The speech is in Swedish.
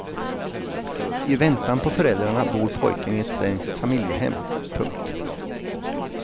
I väntan på föräldrarna bor pojken i ett svenskt familjehem. punkt